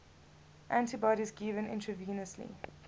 antibodies given intravenously